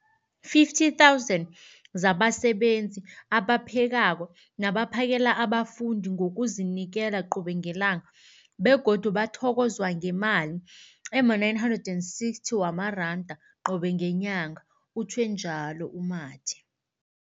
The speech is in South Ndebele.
50 000 zabasebenzi abaphekako nabaphakela abafundi ngokuzinikela qobe ngelanga, begodu bathokozwa ngemali ema-960 wamaranda qobe ngenyanga, utjhwe njalo u-Mathe.